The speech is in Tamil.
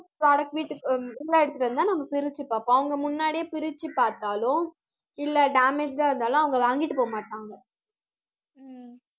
product வீட்டுக்கு அஹ் உம் உள்ள எடுத்திட்டு வந்து தான நம்ம பிரிச்சு பார்ப்போம். அவங்க முன்னாடியே பிரிச்சு பார்த்தாலும் இல்ல damaged டா இருந்தாலும் அவங்க வாங்கிட்டு போக மாட்டாங்க